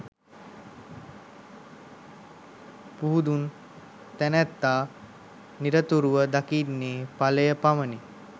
පුහුදුන් තැනැත්තා නිරතුරුව දකින්නේ ඵලය පමණි.